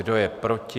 Kdo je proti?